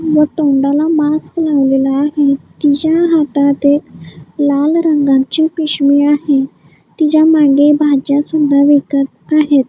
व तोंडाला मास्क लावलेला आहे तिच्या हातात एक लाल रंगाची पिशवी आहे तिच्या मागे भाज्या सुद्धा विकत आहेत.